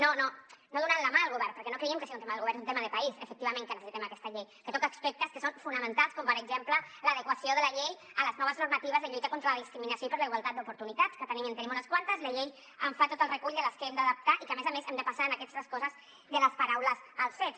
no no donant la mà al govern perquè no creiem que sigui un tema del govern és un tema de país efectivament que necessitem aquesta llei que toca aspectes que són fonamentals com per exemple l’adequació de la llei a les noves normatives de lluita contra la discriminació i per la igualtat d’oportunitats que en tenim unes quantes i la llei en fa tot el recull de les que hem d’adaptar i que a més a més hem de passar en aquestes coses de les paraules als fets